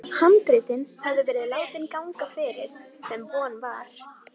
Handritin höfðu verið látin ganga fyrir, sem von var.